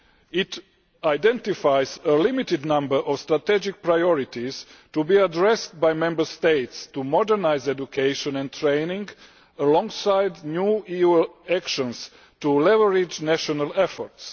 It identifies a limited number of strategic priorities to be addressed by the Member States in order to modernise education and training, alongside new EU actions to leverage national efforts.